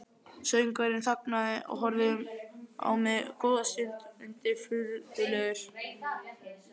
Söngvarinn þagnaði og horfði á mig góða stund undirfurðulegur.